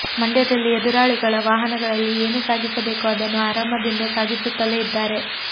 ಮಂಡ್ಯದಲ್ಲಿ ಎದುರಾಳಿಗಳ ವಾಹನಗಳಲ್ಲಿ ಏನು ಸಾಗಿಸಬೇಕೋ ಅದನ್ನು ಆರಾಮದಿಂದ ಸಾಗಿಸುತ್ತಲೇ ಇದ್ದಾರೆ